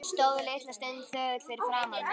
Stóð litla stund þögull fyrir framan mig.